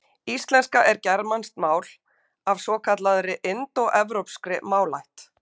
Íslenska er germanskt mál af svokallaðri indóevrópskri málaætt.